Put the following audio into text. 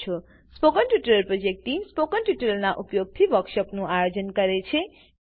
spoken tutorial project team spoken ટ્યુટોરીયલોનાં ઉપયોગથી વર્કશોપોનું આયોજન કરે છે